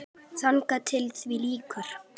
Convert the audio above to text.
Þangað til því lýkur.